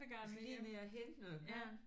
Skal lige ned og hente noget garn